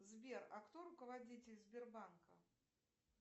сбер а кто руководитель сбербанка